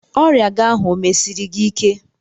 Ọrịa gị ahụ o mesiri gị ike?